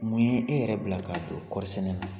Mun ye e yɛrɛ bila k'a don kɔɔri sɛnɛ na?